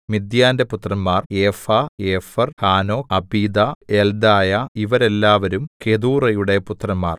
മിദ്യാന്റെ പുത്രന്മാർ Ephah Epher Hanoch Abida Eldaah ഇവരെല്ലാവരും കെതൂറായുടെ പുത്രന്മാർ